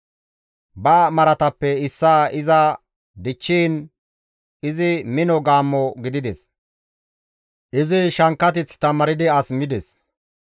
Ba maratappe issaa iza dichchiin, izi mino gaammo gidides; izi shankkateth tamaaridi as mides.